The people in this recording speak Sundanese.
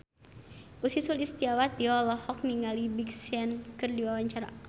Ussy Sulistyawati olohok ningali Big Sean keur diwawancara